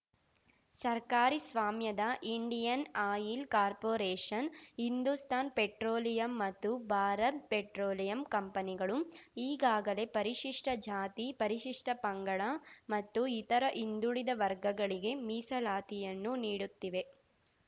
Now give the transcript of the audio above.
ಸರ್ಕಾರಿ ಸ್ವಾಮ್ಯದ Indian oil corporation Hindustan petroleum ಮತ್ತು ಭಾರತ್‌ ಪೆಟ್ರೋಲಿಯಂ ಕಂಪನಿಗಳು ಈಗಾಗಲೇ ಪರಿಶಿಷ್ಟಜಾತಿ ಪರಿಶಿಷ್ಟಪಂಗಡ ಮತ್ತು ಇತರ ಹಿಂದುಳಿದ ವರ್ಗಗಳಿಗೆ ಮೀಸಲಾತಿಯನ್ನು ನೀಡುತ್ತಿವೆ